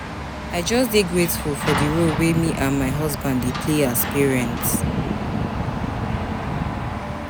I just dey grateful for di role wey me and my husband dey play as parents.